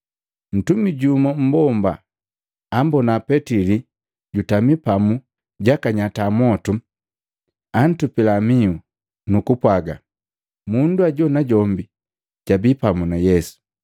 Mtumi jumu mmbomba ambona Petili jutami papu jakanyata mwotu, antupila mihu, nu kupwaga, “Mundu ajo najombi jabii pamu na Yesu.”